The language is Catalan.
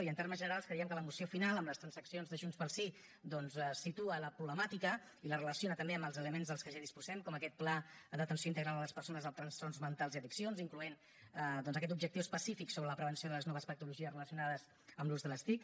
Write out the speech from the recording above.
i en termes generals creiem que la moció final amb les transaccions de junts pel sí doncs situa la problemàtica i la relaciona també amb els elements de què ja disposem com aquest pla d’atenció integral a les persones amb trastorns mentals i addiccions incloent hi aquest objectiu específic sobre la prevenció de les noves patologies relacionades amb l’ús de les tic